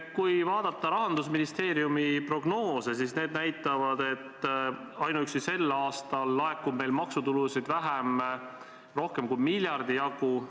Kui vaadata Rahandusministeeriumi prognoose, siis need näitavad, et ainuüksi sel aastal laekub meil maksutulu rohkem kui miljardi jagu vähem.